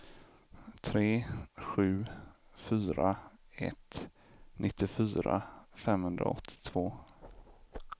tre sju fyra ett nittiofyra femhundraåttiotvå